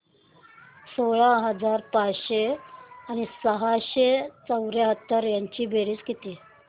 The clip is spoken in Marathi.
सोळा हजार पाचशे आणि सहाशे पंच्याहत्तर ची बेरीज किती